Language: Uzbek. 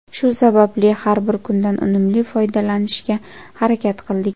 Shu sababli har bir kundan unumli foydalanishga harakat qildik.